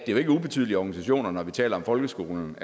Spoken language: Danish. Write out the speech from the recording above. er jo ikke ubetydelige organisationer når vi taler om folkeskolen